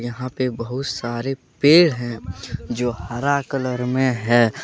यहां पे बहुत सारे पेड़ हैं जो हरा कलर में है।